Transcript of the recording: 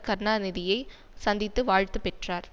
கருணாநிதியை சந்தித்து வாழ்த்து பெற்றார்